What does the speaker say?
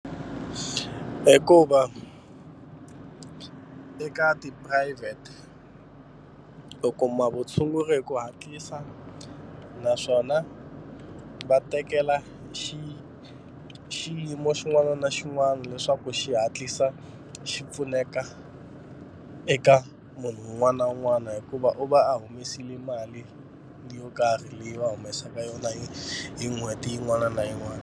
Hikuva eka tiphurayivhete u kuma vutshunguri hi ku hatlisa naswona va tekela xi xiyimo xin'wana na xin'wana leswaku xi hatlisa xi pfuneka eka munhu un'wana na un'wana hikuva u va a humesile mali yo karhi leyi va humesaka yona hi hi n'hweti yin'wana na yin'wana.